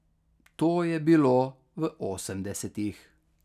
To je bilo v osemdesetih.